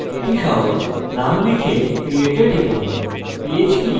এটি সহজ আপনি নাম লিখুন এবং create এ টিপুন